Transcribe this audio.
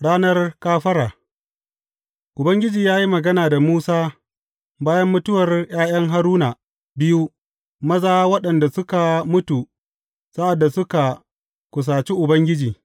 Ranar kafara Ubangiji ya yi magana da Musa bayan mutuwar ’ya’yan Haruna biyu maza waɗanda suka mutu sa’ad da suka kusaci Ubangiji.